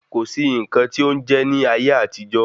Kò sí nǹkan tí ó ń jẹ́ní ayé àtijọ́